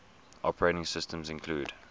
operating systems include